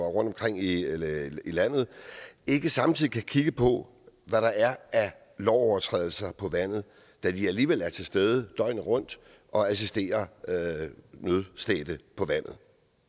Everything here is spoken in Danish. rundtomkring i landet ikke samtidig kan kigge på hvad der er af lovovertrædelser på vandet da de alligevel er til stede døgnet rundt og assisterer nødstedte på vandet